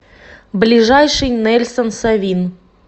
ближайший нельсон совин